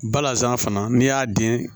Balazan fana n'i y'a den